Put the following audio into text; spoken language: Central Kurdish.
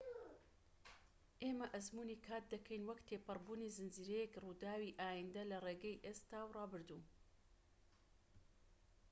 ئێمە ئەزموونی کات دەکەین وەک تێپەڕبوونی زنجیرەیەک ڕووداوی ئایندە لە ڕێگەی ئێستا و ڕابردوو